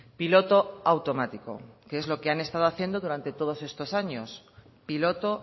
piloto automático que es lo que han estado haciendo durante todos estos años piloto